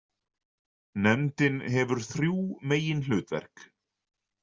Nefndin hefur þrjú meginhlutverk.